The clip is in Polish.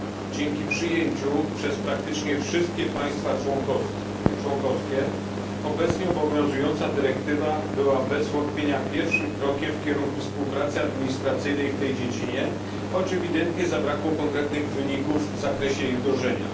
Dzięki przyjęciu przez praktycznie wszystkie państwa członkowskie obecnie obowiązująca dyrektywa była bez wątpienia pierwszym krokiem w kierunku współpracy administracyjnej w tej dziedzinie, choć ewidentnie zabrakło konkretnych wyników w zakresie jej wdrożenia.